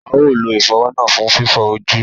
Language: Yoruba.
A ó lo ìfọ̀wọ́ náà fún fífọ ojú